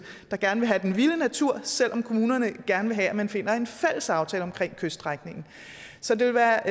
der gerne vil have den vilde natur selv om kommunerne gerne vil have at man finder en fælles aftale om kyststrækningen så det vil være